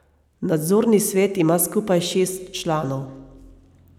Nadzorni svet ima skupaj šest članov.